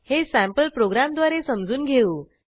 हे सँपल प्रोग्रॅमद्वारे समजून घेऊ